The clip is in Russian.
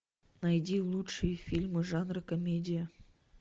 найди лучшие фильмы жанра комедия